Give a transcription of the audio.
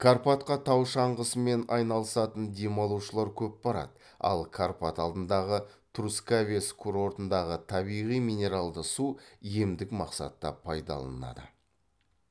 карпатқа тау шаңғысымен айналысатын демалушылар көп барады ал карпат алдындағы трускавец курортындағы табиғи минералды су емдік мақсатта пайдаланылады